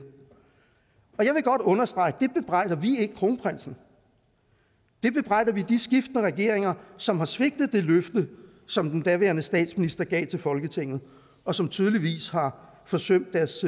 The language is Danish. jeg vil godt understrege at det bebrejder vi ikke kronprinsen det bebrejder vi de skiftende regeringer som har svigtet det løfte som den daværende statsminister gav til folketinget og som tydeligvis har forsømt deres